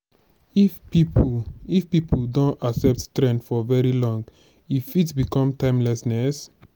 if pipo if pipo don accept trend for very long e fit become timelessness